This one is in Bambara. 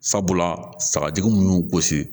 Sabula sagajugu munnu y'u gosi